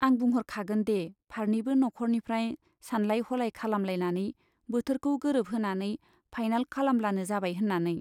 आं बुंह'रखागोन दे फारनैबो नख'रनिफ्राय सानलाय हलाय खालामलायनानै बोथोरखौ गोरोबहोनानै फाइनाल खालामब्लानो जाबाय होन्नानै।